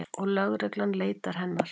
Og lögreglan leitar hennar.